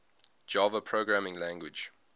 java programming language